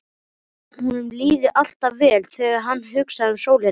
Honum líði alltaf vel þegar hann hugsi um sólina.